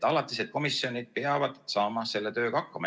Alatised komisjonid peavad saama selle tööga hakkama.